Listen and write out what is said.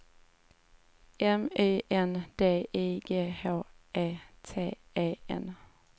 M Y N D I G H E T E N